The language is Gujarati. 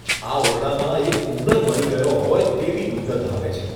આ ઓરડામાં એક ઉંદર મરી ગયો હોય તેવી દુર્ગંધ આવે છે.